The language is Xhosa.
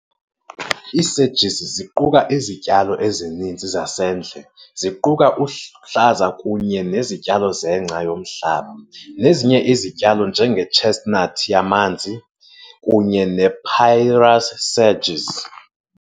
iiSedges ziquka izityalo ezininzi zasendle ziquka uhlazakunye nezityalo zengca yomhlaba, nezinye ezityalo njenge"chestnut" yamanzi kunye ne"papyrus sedge".